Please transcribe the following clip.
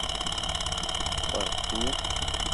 в порту